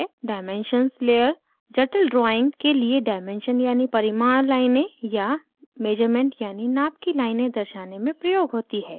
dimensions layer जटिल drawings के लिए डायमेंशन यानि परिमाण लाइनें या मेज़रमेंट यानि नाप की लाइनें दर्शाने में प्रयोग होती है